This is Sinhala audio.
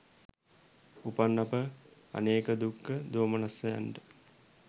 උපන් අප අනේක දුක්ඛ දෝමනස්සයන්ට